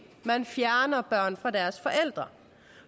at man fjerner børn fra deres forældre